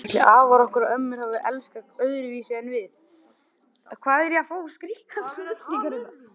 Ætli afar okkar og ömmur hafi elskast öðruvísi en við?